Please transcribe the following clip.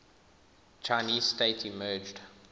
chinese state emerged